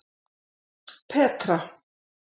Petra